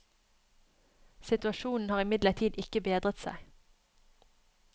Situasjonen har imidlertid ikke bedret seg.